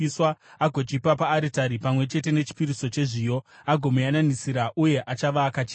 agochipa paaritari pamwe chete nechipiriso chezviyo, agomuyananisira, uye achava akachena.